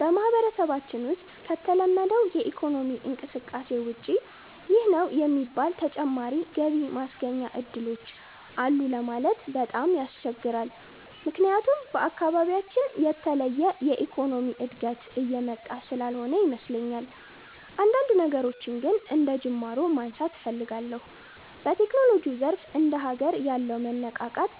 በማህበረሰባችን ውሰጥ ከተለመደው የኢኮኖሚ እንቅስቃሴ ውጭ ይህ ነው የሚባል ተጨማሪ ገቢ ማስገኛ እድሎች አሉ ለማለት በጣም ያስቸግራል። ምክያቱም በአካባቢያችን የተለየ የኢኮኖሚ እድገት እየመጣ ስላልሆነ ይመስለኛል። አንዳንድ ነገሮችን ግን አንደጅማሮ ማንሳት እፈልጋለሁ። በቴክኖሎጂው ዘርፍ እንደ ሀገር ያለው መነቃቃት